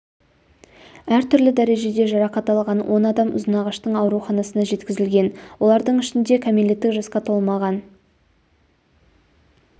әр түрлі дәрежеде жарақат алған он адам ұзынағаштың ауруханасына жеткізілген олардың ішінде кәмелеттік жасқа толмаған